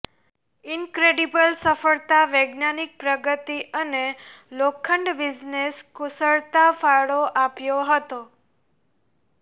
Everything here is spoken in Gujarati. ઈનક્રેડિબલ સફળતા વૈજ્ઞાનિક પ્રગતિ અને લોખંડ બિઝનેસ કુશળતા ફાળો આપ્યો હતો